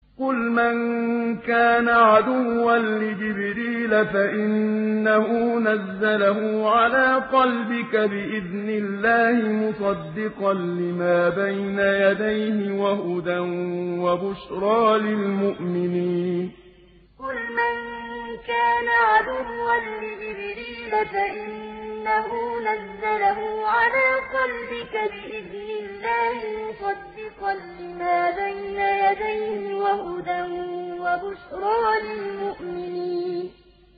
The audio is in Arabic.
قُلْ مَن كَانَ عَدُوًّا لِّجِبْرِيلَ فَإِنَّهُ نَزَّلَهُ عَلَىٰ قَلْبِكَ بِإِذْنِ اللَّهِ مُصَدِّقًا لِّمَا بَيْنَ يَدَيْهِ وَهُدًى وَبُشْرَىٰ لِلْمُؤْمِنِينَ قُلْ مَن كَانَ عَدُوًّا لِّجِبْرِيلَ فَإِنَّهُ نَزَّلَهُ عَلَىٰ قَلْبِكَ بِإِذْنِ اللَّهِ مُصَدِّقًا لِّمَا بَيْنَ يَدَيْهِ وَهُدًى وَبُشْرَىٰ لِلْمُؤْمِنِينَ